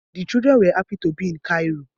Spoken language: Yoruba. The children were happy to be in Cairo